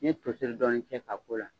Ni ye toseri dɔɔni cɛ ka k'o la.